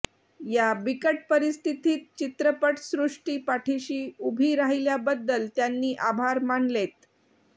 या बिकट परिस्थितीत चित्रपटसृष्टी पाठिशी उभी राहिल्याबद्दल त्यांनी आभार मानलेत